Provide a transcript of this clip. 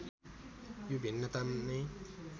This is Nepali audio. यो भिन्नता नै